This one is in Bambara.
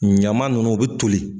Ɲaman ninnu u bɛ toli.